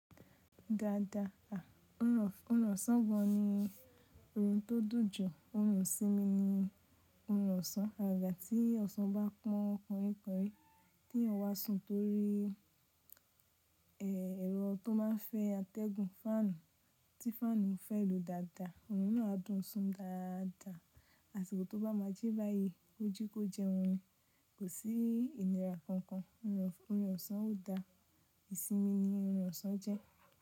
Dada da, òrò ọ̀sán gan ni orun tó dùn jù. Òrùn isími ni ọ̀rùn ọ̀sán. Agaga tí ọ̀sán bá pọn kanríkanrí tí èèyàn wa sun torí, ẹ. Èrọ tó má n fẹ́ atẹ́gùn fáànù tí fáànù n fẹ́ lu dáadáa. Òrùn náà á dùn sun dáadáa. Àsìkò tó bá ma jẹ́ báyìí, ó jíkó jẹun. Kò sí ìnira kankan. Òrùn, ọ̀rùn ọ̀sán o dá. Ìsinmi ni ọ̀rùn ọ̀sán jẹ́.